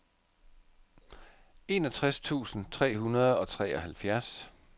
enogtres tusind tre hundrede og treoghalvfjerds